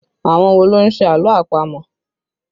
Àwọn wo ló ń ṣe àlọ́ àpamọ̀?